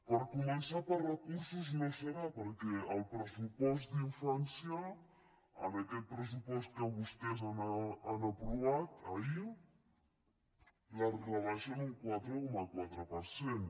per començar per recursos no serà perquè el pressupost d’infància en aquest pressupost que vostès han aprovat ahir els rebaixen un quatre coma quatre per cent